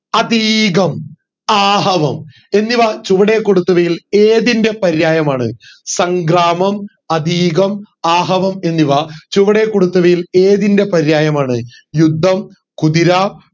ആതീകം ആഹവം എന്നിവ ചുവടെ കൊടുത്തവയിൽ ഏതിന്റെ പര്യായമാണ് സംഗ്രാമം ആതീകം ആഹവം എന്നിവ ചുവടെ കൊടുത്തവയിൽ ഏതിന്റെ പര്യായമാണ് യുദ്ധം കുതിര